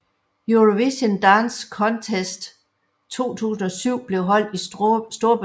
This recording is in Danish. Eurovision Dance Contest 2007 blev holdt i Storbritannien